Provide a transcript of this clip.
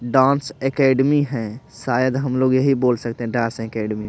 dance academy है शायद हम लोग यही बोल सकते हैं डांस एकेडमी --